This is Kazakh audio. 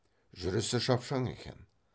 жүрісі шапшаң екен